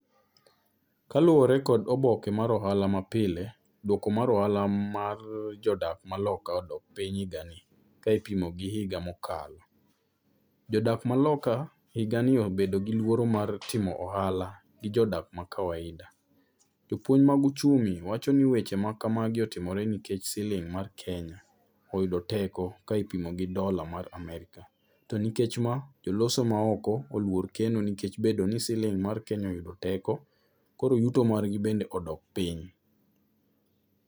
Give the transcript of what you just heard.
Kaluwore kod oboke mar ohala mapile, duoko mar ohala mar jodak maloka odok piny higani a kipimo gi higa mokalo. Jodak maloka higani obedo giluoro mar timo ohala gi jodak m,a kawaida. Jopuonj mag uchumi wacho ni weche ma ka magi otimore nikech siling mar Kenya oyudo teko ka ipimo gi dola mar America. To nikech ma joloso maoko oluor keno nikech bedo ni siling mar Kenya oyudo teko koro yuto margi bende odok piny.